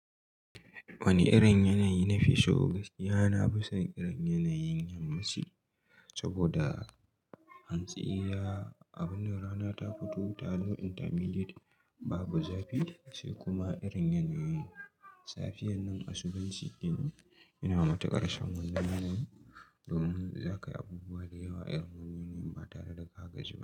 Wane irin yanayi nafi so? Gaskiya na fi son irin yanayin yammaci saboda hantsi ya abinnan rana ta fito, ta zama intermediate babu zafi sai kuma irin yanayin safiyar nan asubh in nan. Ina matuƙar son wannan yanayin domin zaka yi abubuwa da yawa irin su yin ba tare da ka gaji ba.